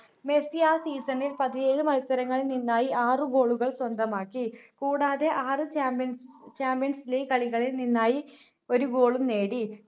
Messi ആ season ൽ പതിനേഴ് മത്സരങ്ങളിൽ നിന്നായി ആറ് goal കൾ സ്വന്തമാക്കി കൂടാതെ ആറ് champions champions league കളികളിൽ നിന്നായി ഒരു goal ളും നേടി